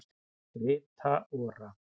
Rita Ora